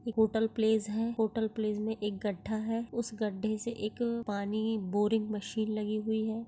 एक hotel palace है hotel palace में एक गड्डा है उस गड्डे से एक पानी बोरिंग मशीन लगी हुयी है।